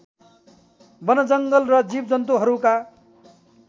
वनजङ्गल र जिवजन्तुहरूका